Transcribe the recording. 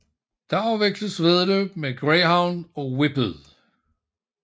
Der afvikles væddeløb med greyhound og whippet